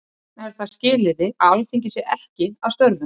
Þess vegna er það skilyrði að Alþingi sé ekki að störfum.